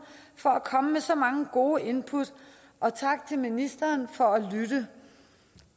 for at komme med så mange gode input og tak til ministeren for at lytte